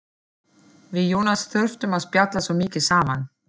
Við Jónas þurftum að spjalla svo mikið saman.